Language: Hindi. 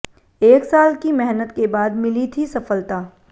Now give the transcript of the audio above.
एक साल की मेहनत के बाद मिली थी सफलता